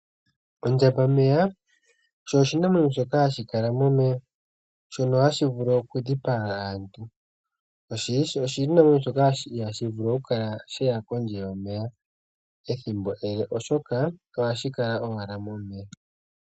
Ondjambameya osho oshinamwenyo shoka hashi kala momeya, shono hashi vulu okudhipaga aantu. Osho ishewe oshinamwenyo shoka ihaashi vulu okukala sheya kondje yomeya ethimbo ele oshoka ohashi kala owala momeya.